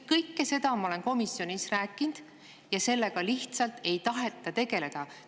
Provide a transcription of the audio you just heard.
Kõike seda ma olen komisjonis rääkinud, aga sellega lihtsalt ei taheta tegeleda.